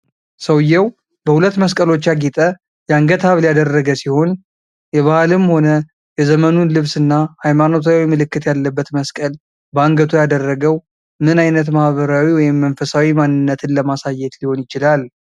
ሰውየው በሁለት መስቀሎች ያጌጠ የአንገት ሐብል ያደረገ ሲሆንል። የባህልም ሆነ የዘመኑን ልብስ እና ሃይማኖታዊ ምልክት ያለበት መስቀል በአንገቱ ያደረገው፣ ምን አይነት ማህበራዊ ወይም መንፈሳዊ ማንነትን ለማሳየት ሊሆን ይችላል?